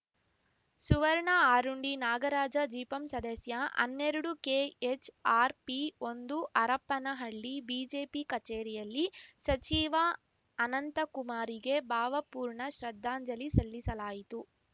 ಸುವರ್ಣ ಅರುಂಡಿ ನಾಗರಾಜ ಜಿಪಂ ಸದಸ್ಯ ಹನ್ನೆರಡುಕೆಎಚ್‌ ಆರ್‌ ಪಿ ಒಂದು ಹರಪನಹಳ್ಳಿ ಬಿಜೆಪಿ ಕಚೇರಿಯಲ್ಲಿ ಸಚಿವ ಅನಂತಕುಮಾರ್‌ರಿಗೆ ಭಾವಪೂರ್ಣ ಶ್ರದ್ದಾಂಜಲಿ ಸಲ್ಲಿಸಲಾಯಿತು